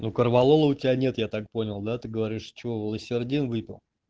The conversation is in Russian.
и корвалола у тебя нет я так понял да ты говоришь чего валосердин выпил